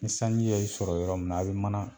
Ni sanji ye i sɔrɔ yɔrɔ min na a bi mana